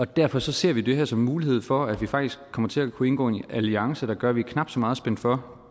derfor ser vi det her som en mulighed for at vi faktisk kommer til at kunne indgå i en alliance der gør at vi er knap så meget spændt for